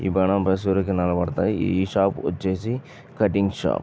ఈ షాప్ వచ్చేసి cutting shop .